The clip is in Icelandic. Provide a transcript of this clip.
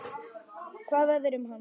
Hvað verður um hann?